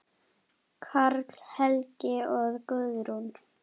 Karl Helgi og Guðrún.